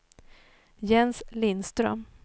Jens Lindström